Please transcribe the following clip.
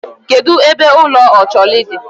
Kedụ ebe ụlọ Ocholi dị?